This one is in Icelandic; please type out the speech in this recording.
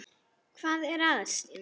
Hvað er að Stína?